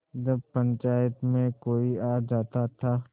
जब पंचायत में कोई आ जाता था